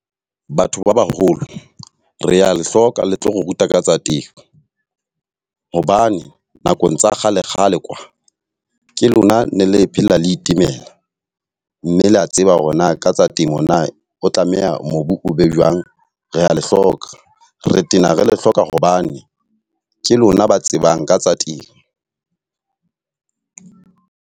Batho ba baholo, re a le hloka le tlo re ruta ka tsa temo. Hobane nakong tsa kgale kgale kwa, ke lona ne le phela le itemela mme le a tseba hore na ka tsa temo na o tlameha mobu o be jwang. Re a le hloka re tena re le hloka hobane ke lona ba tsebang ka tsa temo.